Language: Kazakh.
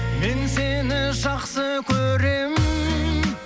мен сені жақсы көремін